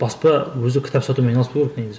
баспа өзі кітап сатумен айналыспау керек негізі